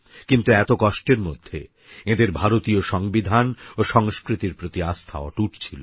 কিন্তু এত কষ্টের মধ্যে এঁদের ভারতীয় সংবিধান ও সংস্কৃতির প্রতি আস্থা অটুট ছিল